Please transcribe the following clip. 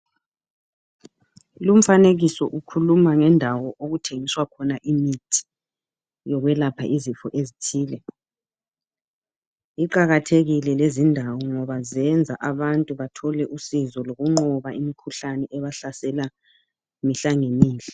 Lumfanikiso ukhuluma ngendawo okuthengiswa khona imithi yokwelapha izifo ezithile, iqakathelile lezi indawo ngoba zenza abantu bathole usizo lokunqoba imikhuhlane ebahlasela mihla lemihla.